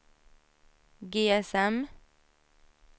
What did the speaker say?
GSM